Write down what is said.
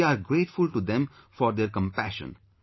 We are grateful to them for their compassion